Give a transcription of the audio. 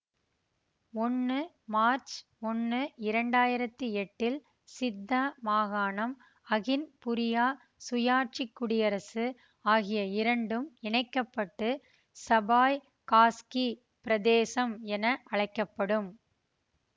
ஒன்னு மார்ச் ஒன்னு இரண்டாயிரத்தி எட்டில் சித்தா மாகாணம் அகின்புரியாத் சுயாட்சி குடியரசு ஆகிய இரண்டும் இணைக்க பட்டு சபாய்காஸ்க்கி பிரதேசம் என அழைக்க படும்